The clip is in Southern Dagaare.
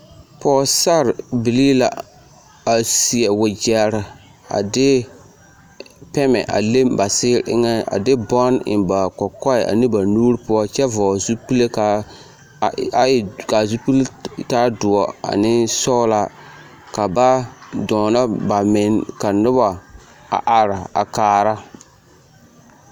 Pɔgesarrebilii la a seɛ wegyɛre a de pɛmɛ a le ba seɛ eŋɛ, a de bɔnne eŋ ba kɔkɔɛ ane ba nuuri poɔ kyɛ vɔgele zupile k'a e k'a zupili taa doɔ ane sɔgelaa ka ba dɔɔnɔ bamenne ka nobɔ a are a kaara.